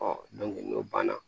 n'o banna